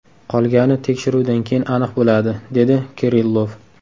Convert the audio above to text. Qolgani tekshiruvdan keyin aniq bo‘ladi”, dedi Kirillov.